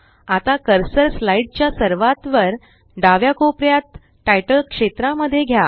आता cursor slide च्या सर्वात वर डाव्या कोपऱ्यात तितले क्षेत्रा मध्ये घ्या